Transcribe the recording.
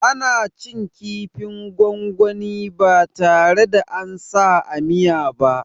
Ana cin kifin gwangwani ba tare da ansa a miya ba